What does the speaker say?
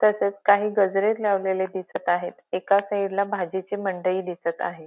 तसेच काही गजरे लावलेले दिसत आहेत एका साईडला भाजीची मंडई दिसत आहे.